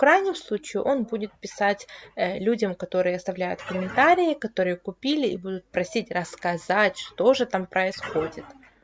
в крайнем случае он будет писать людям которые оставляют комментарии которые купили и будут просить рассказать что же там происходит